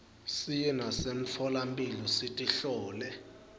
siye nasemitfolamphilo sitihlole